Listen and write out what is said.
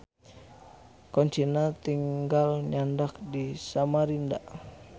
Koncina tinggal nyandak di Samarinda.